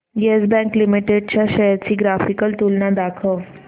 yes Bank Limited च्या शेअर्स ची ग्राफिकल तुलना दाखव